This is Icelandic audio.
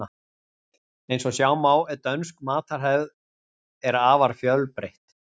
Eins og sjá má er dönsk matarhefð er afar fjölbreytt.